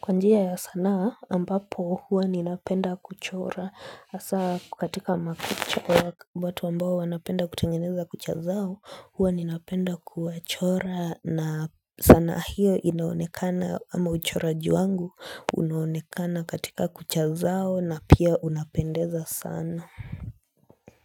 kwa njia ya sanaa, ambapo huwa ninapenda kuchora, hasa katika makuchora bato ambao wanapenda kutengeneza kuchazao huwa ninapenda kuwachora na ana hiyo inaonekana ama uchoraji wangu, unaonekana katika kuchazao, na pia unapendeza sana.